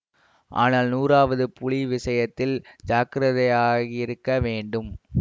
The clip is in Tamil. ஆனால் நூறாவது புலி விஷயத்தில் ஜாக்கிரதையாயிருக்க வேண்டும்